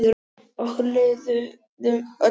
Okkur líður öllum vel.